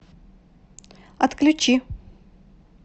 отключи